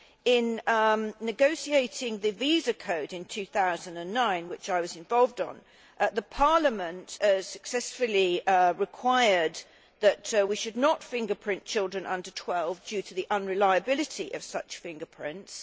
In negotiating the Visa Code in 2009, in which I was involved, Parliament successfully required that we should not fingerprint children under 12 due to the unreliability of such fingerprints.